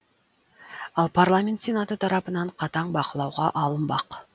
ал парламент сенаты тарапынан қатаң бақылауға алынбақ